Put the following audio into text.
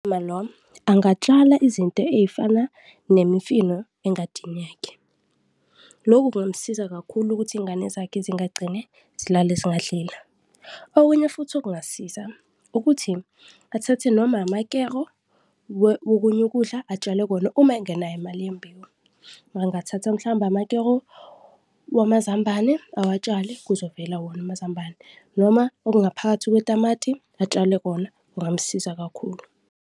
Uma lo angatshala izinto ezifana nemifino engadini yakhe, loku kungamsiza kakhulu ukuthi iy'ngane zakhe singagcine zilale zingadlile. Okunye futhi okungasiza ukuthi athathe noma amakero wokunye ukudla, atshale kona uma engenayo imali yembewu, angathatha mhlawumbe amakero wamazambane awatshale, kuzovela wona amazambane noma okungaphakathi kwetamati atshale kona, kungamsiza kakhulu.